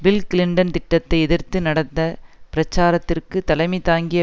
bill Clinton திட்டத்தை எதிர்த்து நடந்த பிரச்சாரத்திற்கு தலைமை தாங்கிய